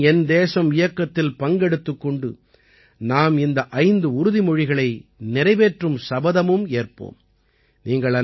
என் மண் என் தேசம் இயக்கத்தில் பங்கெடுத்துக் கொண்டு நாம் இந்த 5 உறுதிமொழிகளை நிறைவேற்றும் சபதமும் ஏற்போம்